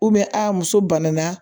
a muso banana